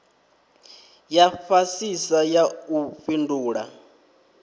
ya fhasisa ya u fhindula